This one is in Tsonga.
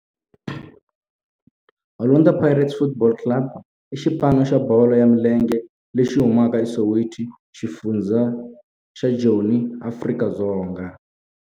Orlando Pirates Football Club i xipano xa bolo ya milenge lexi humaka eSoweto, xifundzha xa Joni, Afrika-Dzonga.